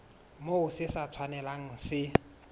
moo se sa tshwanelang se